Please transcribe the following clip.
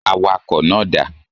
Awakọ̀ náà dà.